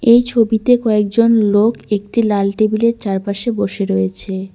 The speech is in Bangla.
এই ছবিতে কয়েকজন লোক একটি লাল টেবিল -এর চারপাশে বসে রয়েছে।